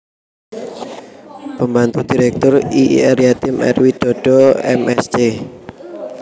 Pembantu Direktur I Ir Yatim R Widodo M Sc